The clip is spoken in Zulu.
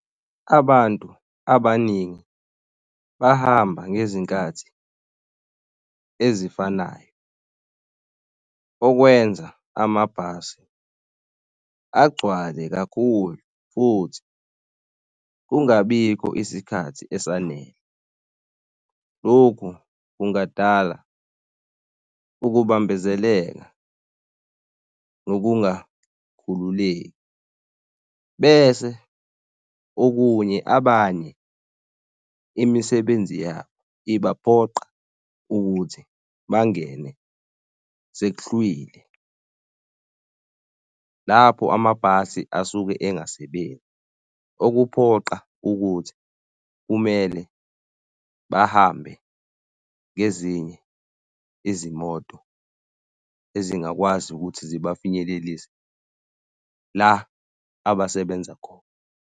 Abantu abaningi bahamba ngezinkathi ezifanayo okwenza amabhasi agcwale kakhulu futhi kungabikho isikhathi esanele. Lokhu kungadala ukubambezeleka nokungakhululeki bese okunye abanye imisebenzi yabo ibaphoqa ukuthi bangene sekuhlwile, lapho amabhasi asuke engasebenzi, okuphoqa ukuthi kumele bahambe ngezinye izimoto ezingakwazi ukuthi ziba finyelelise la abasebenza khona.